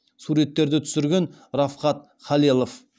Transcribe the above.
суреттерді түсірген рафхат халелов